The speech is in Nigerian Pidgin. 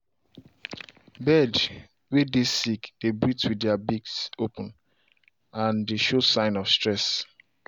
bird way dey sick dey breath with their beaks open and dey show sign of stress.